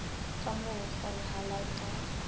ka moo ho kgonahalang ka